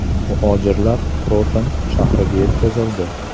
Muhojirlar Krotone shahriga yetkazildi.